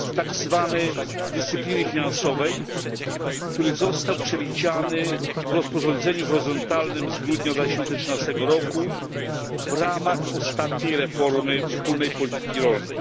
mechanizm dyscypliny finansowej, który został przewidziany w rozporządzeniu horyzontalnym z grudnia 2013 roku w ramach ostatniej reformy wspólnej polityki rolnej.